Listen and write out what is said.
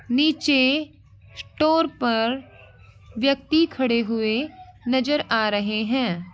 नीचे स्टोर पर व्यक्ति खड़े हुए नज़र आ रहे हैं।